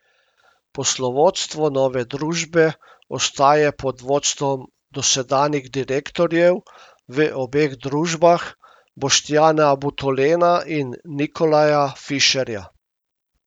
Poslovodstvo nove družbe ostaja pod vodstvom dosedanjih direktorjev v obeh družbah, Boštjana Butolena in Nikolaja Fišerja.